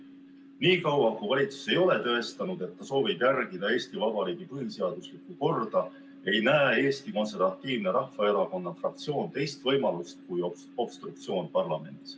Nii kaua, kui valitsus ei ole tõestanud, et ta soovib järgida Eesti Vabariigi põhiseaduslikku korda, ei näe Eesti Konservatiivse Rahvaerakonna fraktsioon teist võimalust kui obstruktsioon parlamendis.